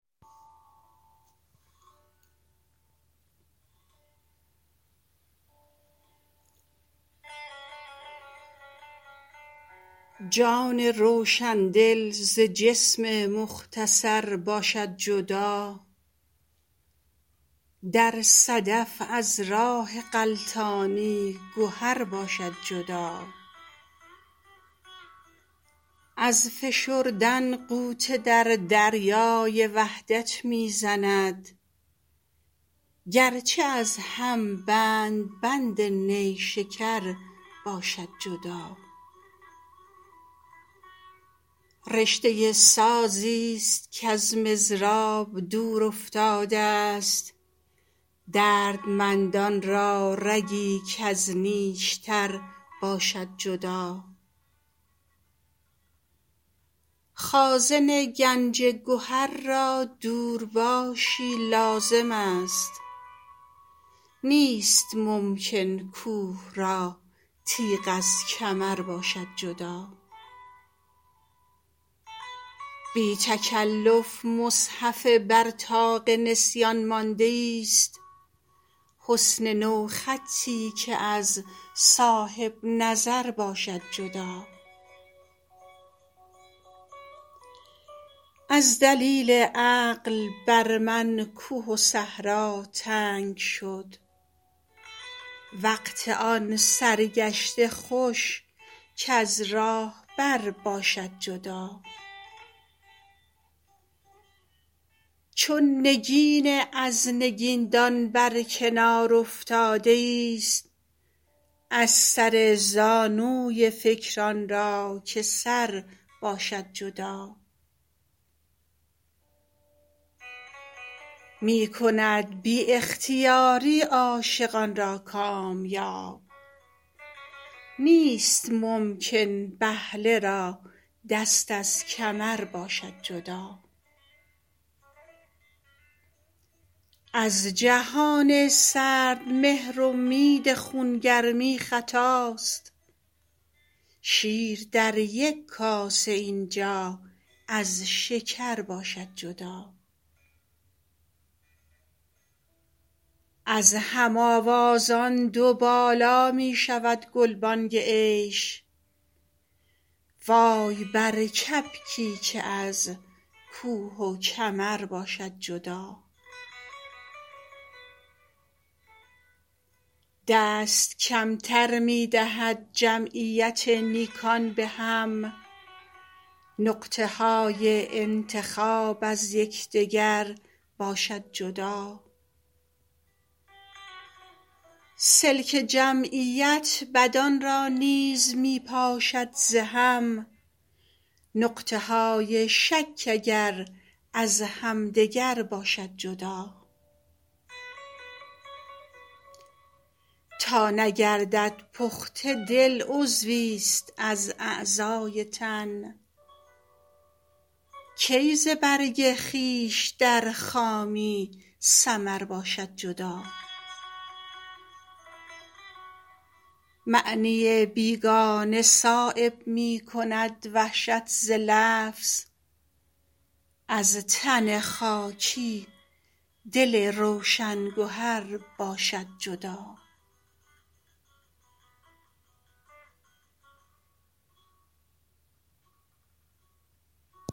جان روشندل ز جسم مختصر باشد جدا در صدف از راه غلطانی گهر باشد جدا از فشردن غوطه در دریای وحدت می زند گرچه از هم بند بند نیشکر باشد جدا رشته سازی است کز مضراب دور افتاده است دردمندان را رگی کز نیشتر باشد جدا خازن گنج گهر را دورباشی لازم است نیست ممکن کوه را تیغ از کمر باشد جدا بی تکلف مصحف بر طاق نسیان مانده ایست حسن نوخطی که از صاحب نظر باشد جدا از دلیل عقل بر من کوه و صحرا تنگ شد وقت آن سرگشته خوش کز راهبر باشد جدا چون نگین از نگیندان بر کنار افتاده ایست از سر زانوی فکر آن را که سر باشد جدا می کند بی اختیاری عاشقان را کامیاب نیست ممکن بهله را دست از کمر باشد جدا از جهان سردمهر امید خونگرمی خطاست شیر در یک کاسه اینجا از شکر باشد جدا از هم آوازان دو بالا می شود گلبانگ عیش وای بر کبکی که از کوه و کمر باشد جدا دست کمتر می دهد جمعیت نیکان به هم نقطه های انتخاب از یکدگر باشد جدا سلک جمعیت بدان را نیز می پاشد ز هم نقطه های شک اگر از همدگر باشد جدا تا نگردد پخته دل عضوی ست از اعضای تن کی ز برگ خویش در خامی ثمر باشد جدا معنی بیگانه صایب می کند وحشت ز لفظ از تن خاکی دل روشن گهر باشد جدا